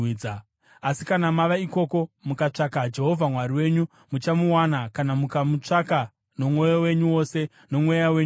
Asi kana mava ikoko mukatsvaka Jehovha Mwari wenyu, muchamuwana kana mukamutsvaka nomwoyo wenyu wose nomweya wenyu wose.